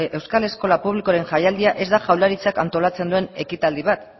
euskal eskola publikoren jaialdia ez da jaularitzak antolatzen duen ekitaldi bat